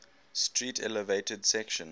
street elevated section